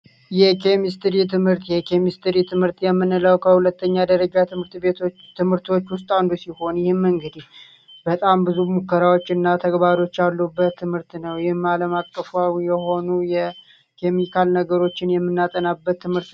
የኬሚስትሪ የትምህርት የኬሚስትሪ ትምህርት የምንለው ከሁለተኛ ደረጃ ትምህርት ቤቶች ትምህርቶች ውስጥ አንዱ ሲሆን መንገድ በጣም ብዙ ሙከራዎች እና ተግባሮች አሉበት ትምህርት ነው የማለማቀፋዊ የሆኑ ነገሮችን የምናጠናበት ትምህርት